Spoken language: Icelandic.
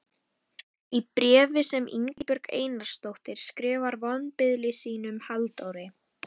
Í bréfi sem Ingibjörg Einarsdóttir skrifar vonbiðli sínum, Halldóri